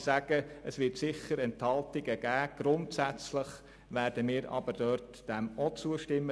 Auch zum AFP wird es Enthaltungen geben, aber wir werden ihm grundsätzlich ebenfalls zustimmen.